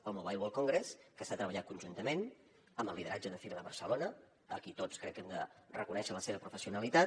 el mobile world congress que s’ha treballat conjuntament amb el lideratge de fira de barcelona a qui tots crec que hem de reconèixer la seva professionalitat